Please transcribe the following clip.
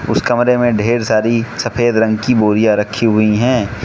उस कमरे में ढेर सारी सफेद रंग की बोरियां रखी हुई हैं।